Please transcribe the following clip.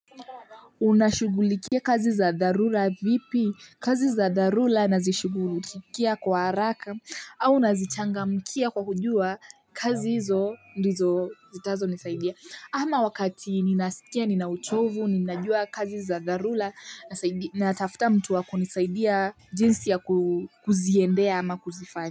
Unashugulikia kazi za dharula vipi kazi za dharula nazishigulikia kwa haraka au nazichangamkia kwa kujua kazi hizo ndizo zitazo nisaidia ama wakati ninasikia ninauchovu ninajua kazi za dharula natafuta mtu wakunisaidia jinsi ya kuziendea ama kuzifanya.